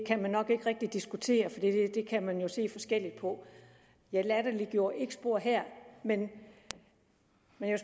rigtig diskutere for det kan man jo se forskelligt på jeg latterliggjorde ikke noget her men